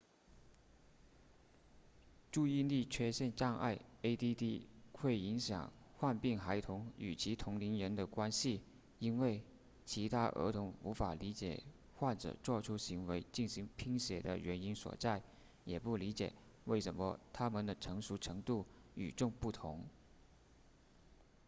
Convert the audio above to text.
注意力缺陷障碍 add 会影响患病孩童与其同龄人的关系因为其他儿童无法理解患者做出行为进行拼写的原因所在也不理解为什么他们的成熟程度与众不同